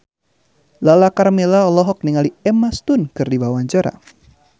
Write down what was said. Lala Karmela olohok ningali Emma Stone keur diwawancara